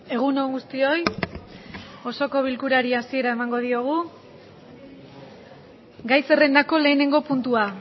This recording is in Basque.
egun on guztioi osoko bilkurari hasiera emango diogu gai zerrendako lehenengo puntua